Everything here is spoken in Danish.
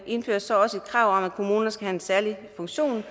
indføres så også et krav om at kommunerne skal have en særlig funktion